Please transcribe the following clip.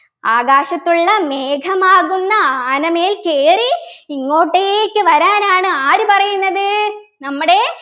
ആകാശത്തുള്ള മേഘമാകുന്ന ആനമേൽ കേറി ഇങ്ങോട്ടേക്ക് വരാനാണ് ആര് പറയുന്നത് നമ്മുടെ